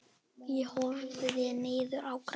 Ég horfði niður í grasið.